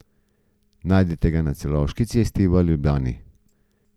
Najdete ga na Celovški cesti v Ljubljani.